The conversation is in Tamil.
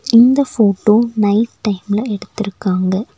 இந்த ஃபோட்டோ நைட் டைம்ல எடுத்துருக்காங்க.